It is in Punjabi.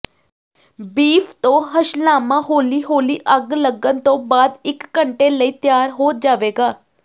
ਬੀਫ ਤੋਂ ਹਸ਼ਲਾਮਾ ਹੌਲੀ ਹੌਲੀ ਅੱਗ ਲੱਗਣ ਤੋਂ ਬਾਅਦ ਇਕ ਘੰਟੇ ਲਈ ਤਿਆਰ ਹੋ ਜਾਵੇਗਾ